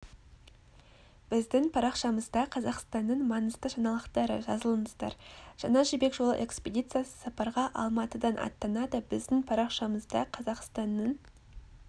біздің парақшамызда қазақстанның маңызды жаңалықтары жазылыңыздар жаңа жібек жолы экспедициясы сапарға алматыдан аттанады біздің парақшамызда қазақстанның